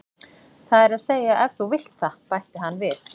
Það er að segja ef þú vilt það, bætti hann við.